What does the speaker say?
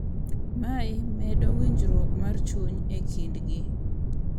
Mae medo winjruok mar chuny e kindgi .